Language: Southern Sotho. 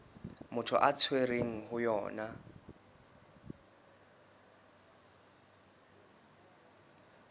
motho a tshwerweng ho yona